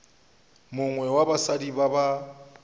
mongwe wa basadi ba ba